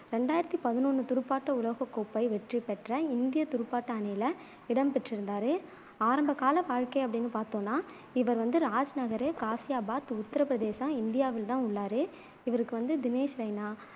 ரெண்டாயிரத்தி பதினொண்ணு துடுப்பாட்ட உலகக்கோப்பை வெற்றி பெற்ற இந்தியத் துடுப்பாட்ட அணியில இடம் பெற்றிருந்தாரு ஆரம்பகால வாழ்க்கை அப்படின்னு பாத்தோம்னா இவர் வந்து ராஜ்நகர், காசியாபாத், உத்தரப் பிரதேசம், இந்தியாவில் தான் உள்ளாரு இவருக்கு வந்து தினேஷ் ரெய்னா,